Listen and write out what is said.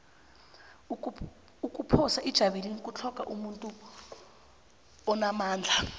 ukuphosa ijavelina kutlhogeka umuntu onamandla